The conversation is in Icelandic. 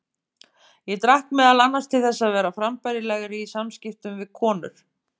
Ég drakk meðal annars til þess að vera frambærilegri í samskiptum við konur.